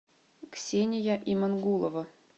ксения имангулова